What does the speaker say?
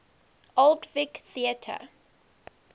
old vic theatre